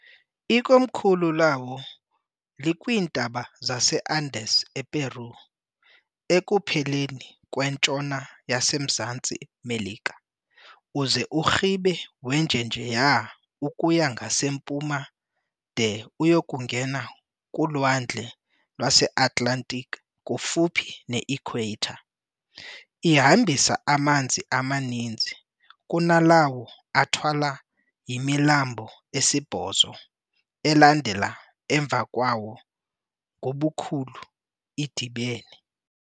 Ikomkhulu lawo likwiintaba zaseAndes ePeru, ekupheleni kwentshona yasemZantsi Melika uze urhibe wenjenjeya ukuya ngasempuma de uyekungena kulwandle lweAtlantic kufuphi ne-equator. Ihambisa amanzi amaninzi kunalawo athwalwa yimilambo esibhozo elandela emva kwawo ngobukhulu idibene.